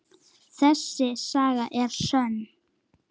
Þessi saga er sönn.